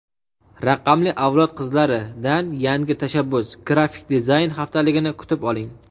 "Raqamli avlod qizlari"dan yangi tashabbus- Grafik dizayn haftaligini kutib oling!.